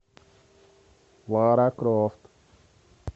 лара крофт